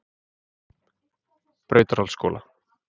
Brautarholtsskóla